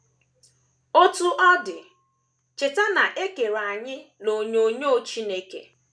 Otú ọ dị, cheta na e kere anyị n’onyinyo Chineke.